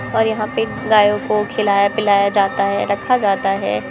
और यहां पे गायों को खिलाया-पिलाया जाता है रखा जाता है।